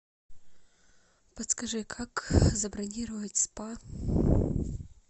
подскажи как забронировать спа